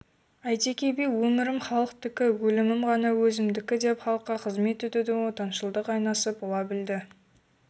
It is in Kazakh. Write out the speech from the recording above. әйтеке би өмірім халықтікі өлімім ғана өзімдікідеп халыққа қызмет етудің отаншылдықтың айнасы бола білді